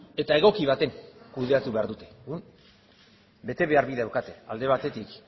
eta egoki batean kudeatu behar dute orduan betebehar bi daukate alde batetik